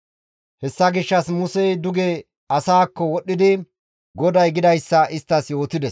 Hessa gishshas Musey duge asaakko wodhdhidi GODAY gidayssa isttas yootides.